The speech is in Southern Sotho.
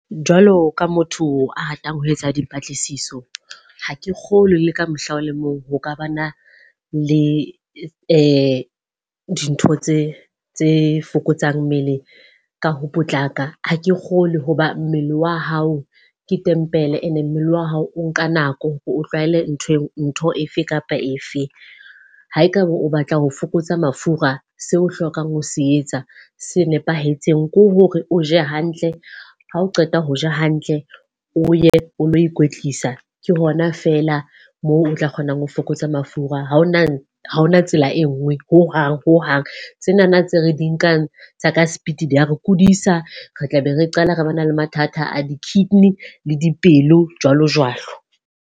Jwalo ka motho a ratang ho etsa dipatlisiso. Ha ke kgolwe le ka mohla o le mong ho ka ba na le e dintho tse tse fokotsang mmele ka ho potlaka. Ha ke kgolwe hoba mmele wa hao ke tempele e ne mmele wa hao o nka nako hore o tlwahele ntho ntho efe kapa efe. Ha ekaba o batla ho fokotsa mafura seo o hlokang ho se etsa se nepahetseng, ko hore o je hantle ha o qeta ho ja hantle, o ye o lo ikwetlisa ke hona fela moo o tla kgonang ho fokotsa mafura. Ha hona ha hona tsela e nngwe ho hang ho hang. Tsenana tse re di nkang tsa ka speed di ya re kodisa. Re tlabe re qala re ba na le mathata a di-kidney le dipelo jwalo jwalo.